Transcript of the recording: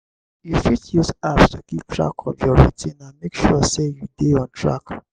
you fit use apps to keep track of your routine and make sure sey you dey on track